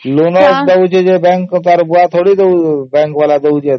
bank ତାର ଫାଇଦା ପାଇଁ ସିନା ଏସବୁ କରୁଛି